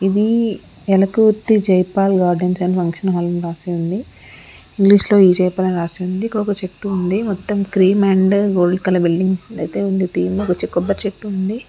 ఇది Elakurthi Jayapal gardens and functional hall అని రాసి ఉంది ఇంగ్లీషులో ఈ. జయపాల్ అని రాసే ఉంది ఒక చెట్టు ఉంది మొత్తం cream and gold colour building ఉందయితే ఉంది ఒక కొబ్బరి చెట్టు ఉంది.